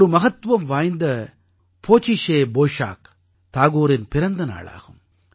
ஒரு மகத்துவம் வாய்ந்த போசிஷே பொய்ஷாக் தாகூரின் பிறந்த நாள் ஆகும்